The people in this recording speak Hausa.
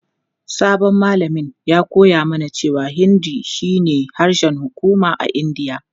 Sabon malamin ya koya mana cewa Hindi shine harshen hukuma a Indiya.